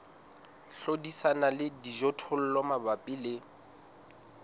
hlodisana le dijothollo mabapi le